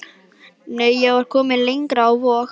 Nei, ég var komin lengra, á Vog.